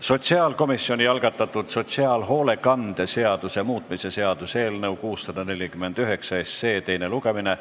Sotsiaalkomisjoni algatatud sotsiaalhoolekande seaduse muutmise seaduse eelnõu 649 teine lugemine.